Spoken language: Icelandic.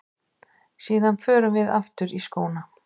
Síðan förum við aftur í skóna.